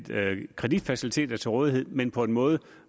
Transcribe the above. kreditfaciliteter til rådighed men på en måde